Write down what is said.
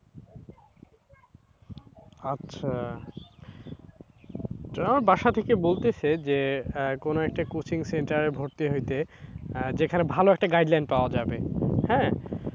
আচ্ছা। আমার বাসা থেকে বলতেসে যে কোন একটা coaching centre এ ভর্তি হইতে যেখানে ভাল একটা guide line পাওয়া যাবে, হ্যাঁ,